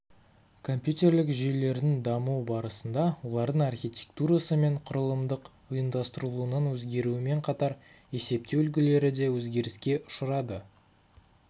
компьютерлік жүйелердің даму барысында олардың архитектурасы мен құрылымдық ұйымдастырылуының өзгеруімен қатар есептеу үлгілері де өзгеріске ұшырады